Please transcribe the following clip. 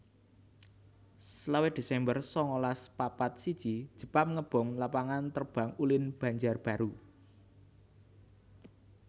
selawe desember sangalas papat siji Jepang ngebom Lapangan Terbang Ulin Banjarbaru